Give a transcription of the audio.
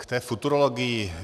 K té futurologii.